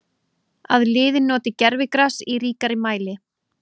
Að liðin noti gervigras í ríkari mæli?